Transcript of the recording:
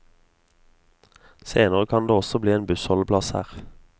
Senere kan det også bli en bussholdeplass her.